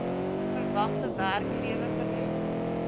verwagte werklewe verleng